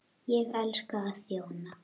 Ég elska að þjóna.